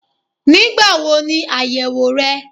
Nígbáwo ni àyèwò re?